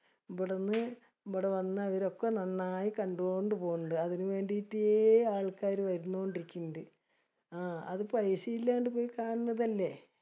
ബടന്ന് ബട വന്നവരൊക്കെ നന്നായി കണ്ടോണ്ട് പൊന്നിൻഡ്. അതിനുവേണ്ടീട്ടെ ആൾക്കാര് വരുന്നോണ്ടിരിക്കിൻഡ്. ആഹ് അത് പൈസ ഇല്ലാണ്ട് പോയി കാണുന്നതലെ.